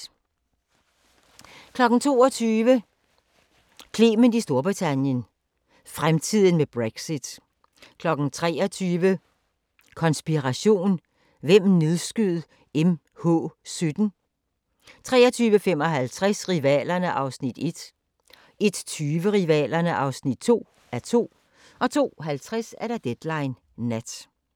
22:00: Clement i Storbritannien - fremtiden med Brexit 23:00: Konspiration: Hvem nedskød MH-17? 23:55: Rivalerne (1:2) 01:20: Rivalerne (2:2) 02:50: Deadline Nat